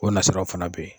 O nasiraw fana bɛ yen